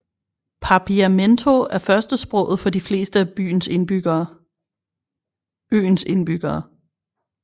Papiamento er førstesproget for de fleste af øens indbyggere